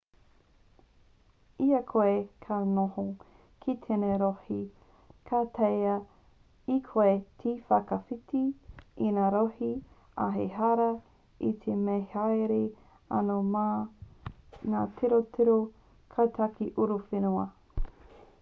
i a koe ka noho ki tēnei rohe ka taea e koe te whakawhiti i ngā rohe ā ehara i te mea me haere anō mā ngā tirotiro kaitiaki uruwhenua